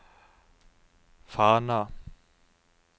Fana